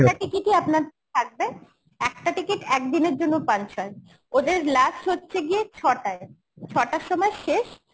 একটা ticket ই আপনার থাকবে একটা ticket একদিনের জন্য punch হয় ওদের last হচ্ছে গিয়ে ছটায়, ছটার সময় শেষ